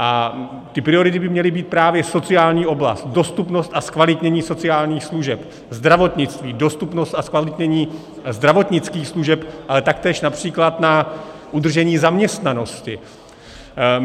A ty priority by měly být právě sociální oblast, dostupnost a zkvalitnění sociálních služeb, zdravotnictví, dostupnost a zkvalitnění zdravotnických služeb, ale taktéž například na udržení zaměstnanosti.